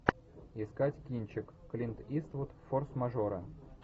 искать кинчик клинт иствуд форс мажоры